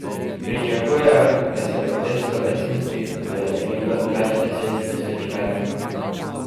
Pričakujejo, da se bo te slovesnosti udeležilo več deset tisoč vernikov.